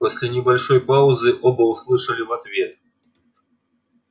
после небольшой паузы оба услышали в ответ